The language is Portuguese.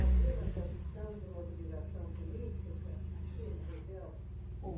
Havia uma tradição de mobilização política aqui na região?